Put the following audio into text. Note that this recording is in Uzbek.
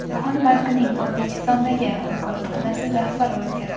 Jahon bankining O‘zbekistondagi vakolatxonasi rahbari o‘zgardi.